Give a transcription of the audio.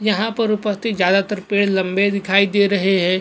यहां पर उपस्थित ज्यादातर पेड़ लंबे दिखाई दे रहे हैं।